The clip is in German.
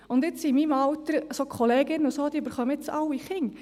In meinem Alter kriegen die Kolleginnen jetzt alle Kinder.